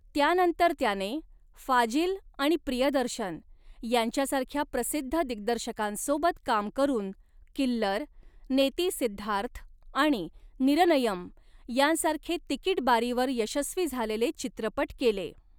त्यानंतर त्याने फाजिल आणि प्रियदर्शन यांच्यासारख्या प्रसिद्ध दिग्दर्शकांसोबत काम करून 'किल्लर', 'नेती सिद्धार्थ' आणि 'निरनयम' यांसारखे तिकीट बारीवर यशस्वी झालेले चित्रपट केले.